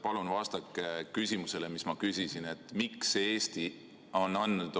Palun vastake küsimusele, mis ma küsisin!